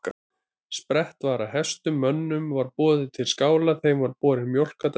Sprett var af hestum, mönnunum var boðið til skála, þeim var borin mjólk að drekka.